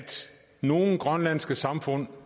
nogle grønlandske samfund